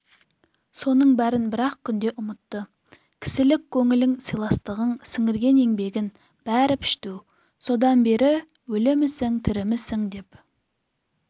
соның бәрін бір-ақ күнде ұмытты кісілік көңілің сыйластығың сіңірген еңбегін бәрі пішту содан бері өлімісің-тірімісің деп